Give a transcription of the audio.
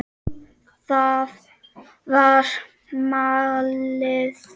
Það var málið.